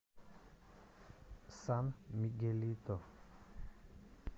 сан мигелито